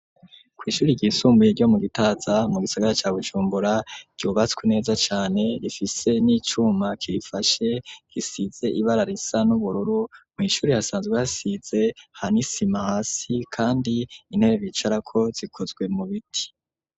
Kw'ishuri ryisumbuye ryo mu Gitaza, mu gisagara ca Bujumbura, ryubatswe neza cane, rifise n'icuma kirifashe gisize ibara risa n'ubururu, mw'ishuri hasanzwe hasize n’isima hasi, kandi intebe bicarako zikozwe mu biti.